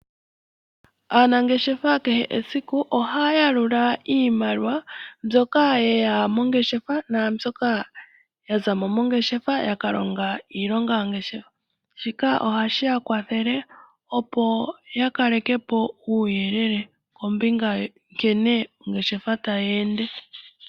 Aanangeshefa kehe esiku ohaya yalula iimaliwa mbyoka ye ya mongeshefa nambyoka ya za mo mongeshefa yaka longa iilonga yongeshefa, shika ohashi ya kwathele, opo ya kaleke po uuyelele kombinga nkene ongeshefa tayi ende.